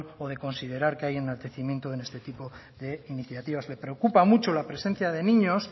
o de considerar que hay enaltecimiento en este tipo de iniciativas me preocupa mucho la presencia de niños